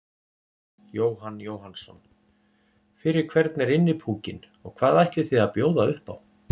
Jóhann Jóhannsson: Fyrir hvern er Innipúkinn og hvað ætlið þið að bjóða upp á?